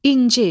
İnci.